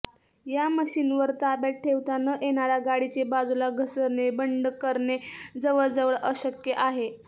या मशीनवर ताब्यात ठेवता न येणारा गाडीचे बाजूला घसरणे बंड करणे जवळजवळ अशक्य आहे